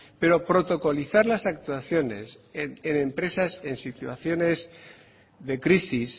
pero protocolizar las actuaciones en empresas en situaciones de crisis